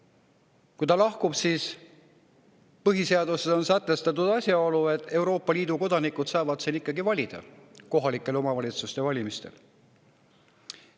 Kui Eesti sealt lahkub, siis põhiseaduses on sätestatud, et Euroopa Liidu kodanikud saavad siin ikkagi kohaliku omavalitsuse valimistel valida.